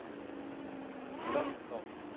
Borgþór